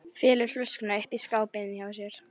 Felur flöskuna uppi í skáp inni hjá sér.